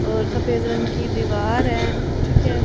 और सफेद रंग की दीवार है ठीक है।